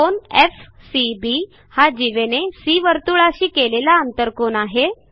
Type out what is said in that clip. कोन FCB हा जीवेने सी वर्तुळाशी केलेला आंतरकोन आहे